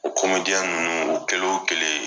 O ninnu o kɛlen o kɛlen